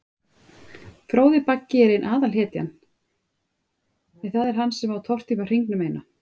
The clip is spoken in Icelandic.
Fróði Baggi er ein aðalhetjan, en það er hann sem á að tortíma hringnum eina.